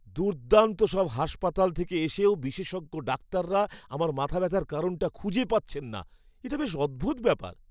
দুর্দান্ত সব হাসপাতাল থেকে এসেও বিশেষজ্ঞ ডাক্তাররা আমার মাথাব্যথাটার কারণ খুঁজে পাচ্ছেন না, এটা বেশ অদ্ভুত ব্যাপার!